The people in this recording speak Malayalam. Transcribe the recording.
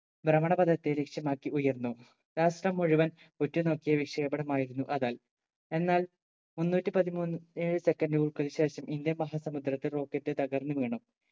ഭ്രമണപദത്തെ ലക്ഷ്യമാക്കി ഉയർന്നു രാഷ്ട്രം മുഴുവൻ ഉറ്റുനോക്കിയ വിക്ഷേപണമായിരുന്നു അതാൽ എന്നാൽ മുന്നൂറ്റി പതിമൂന്ന് ഏഴ് second കൾക്ക് ശേഷം ഇന്ത്യൻ മഹാസമുദ്രത്തിൽ rocket തകർന്നു വീണു